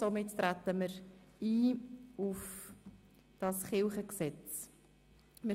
Somit treten wir auf das Landeskirchengesetz ein.